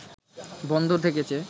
বন্ধ থেকেছে